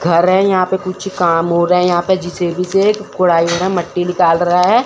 घर है यहां पे कुछ काम हो रहा है यहां पे जे_सी_बी से एक कोड़ाई हो रहा है एक मट्टी निकल रहा है।